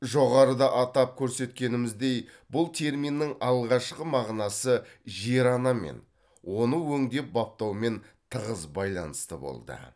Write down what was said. жоғарыда атап көрсеткеніміздей бұл терминнің алғашқы мағынасы жер анамен оны өңдеп баптаумен тығыз байланысты болды